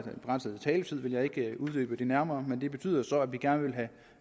begrænset taletid vil jeg ikke uddybe det nærmere men det betyder så at vi gerne vil have